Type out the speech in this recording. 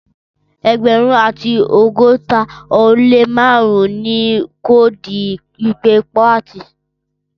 Ẹẹgbẹrun ati ọgọta o le márùn ni koodu ipe kuwati.